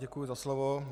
Děkuji za slovo.